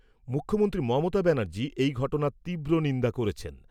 মুখ্যমন্ত্রী মমতা ব্যানার্জী এই ঘটনার তীব্র নিন্দা করেছেন।